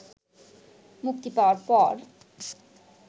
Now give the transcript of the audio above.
মুক্তি পাওয়ার পর